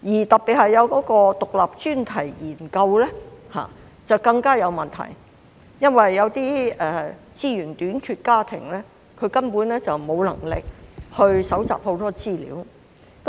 獨立專題研究方面的問題更大，因為資源短缺的家庭根本沒有能力搜集大量資料。